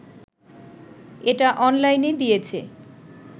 এটা অনলাইনে দিয়েছে